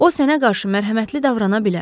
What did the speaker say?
O sənə qarşı mərhəmətli davrana bilər.